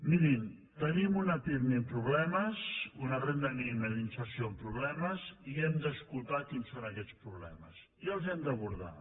mirin tenim una pirmi amb problemes una renda mínima d’inserció amb problemes i hem d’escoltar quins són aquests problemes i els hem d’abordar